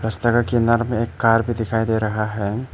इस तरह किनार में एक कार भी दिखाई दे रहा है।